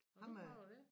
Har du prøvet det